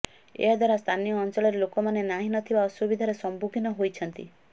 ଏହା ଦ୍ବାରା ସ୍ଥାନୀୟ ଅଞ୍ଚଳରେ ଲୋକମାନେ ନାହିଁ ନଥିବା ଅସୁବିଧାର ସମ୍ମୁଖୀନ ହୋଇଛନ୍ତି